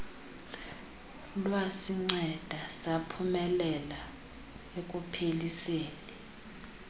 lwasinceda saphumelela ekupheliseni